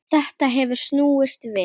Þetta hefur snúist við.